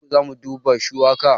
Nan da sati uku zamu duba shuwaka